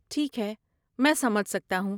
ٹھیک ہے، میں سمجھ سکتا ہوں۔